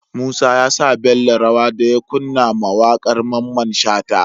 Musa yasa Bello rawa daya kunna ma waƙar mamman shata